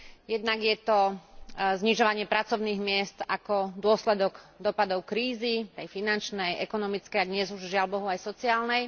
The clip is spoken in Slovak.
Jednak je to znižovanie pracovných miest ako dôsledok dosahov krízy aj finančnej, ekonomickej a dnes už, žiaľbohu, aj sociálnej.